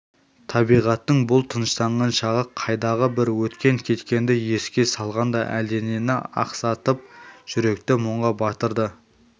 табиғаттың бұл тыныштанған шағы қайдағы бір өткен-кеткенді еске салғандай әлденені ақсатып жүректі мұңға батырды